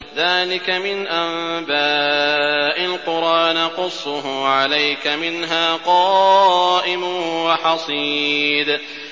ذَٰلِكَ مِنْ أَنبَاءِ الْقُرَىٰ نَقُصُّهُ عَلَيْكَ ۖ مِنْهَا قَائِمٌ وَحَصِيدٌ